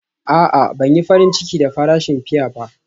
A'a, Ban yi farin ciki da farashin fiya ba.